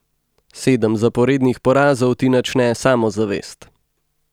Sedem zaporednih porazov ti načne samozavest.